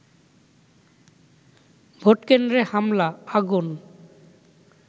ভোটকেন্দ্রে হামলা, আগুন